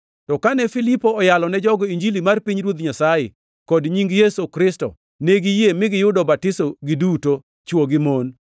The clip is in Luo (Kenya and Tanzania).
To kane Filipo oyalo ne jogo Injili mar pinyruoth Nyasaye, kod nying Yesu Kristo, ne giyie, mi giyudo batiso giduto, chwo gi mon.